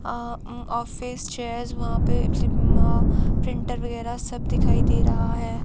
अ um office chairs वहां पे printer वगैरा सब दिखाई दे रहा हैं।